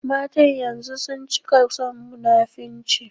Matan yanzun sun cika son munafurci